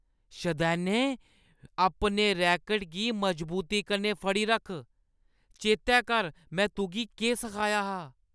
शदैने। अपने रैकट गी मजबूती कन्नै फड़ी रक्ख। चेतै कर में तुगी केह् सखाया हा।